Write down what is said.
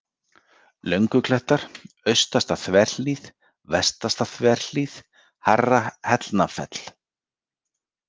Lönguklettar, Austasta-Þverhlíð, Vestasta-Þverhlíð, Hærra-Hellnafell